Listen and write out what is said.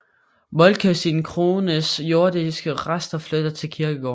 Moltke sin kones jordiske rester flytte til kirkegården